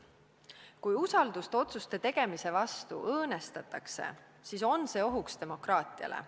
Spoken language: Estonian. Kui usaldust otsuste tegemise vastu õõnestatakse, siis on see ohuks demokraatiale.